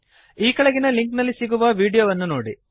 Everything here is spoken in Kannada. ಈ ಕೆಳಗಿನ ಲಿಂಕ್ ನಲ್ಲಿ ಸಿಗುವ ವೀಡಿಯೋವನ್ನು ನೋಡಿ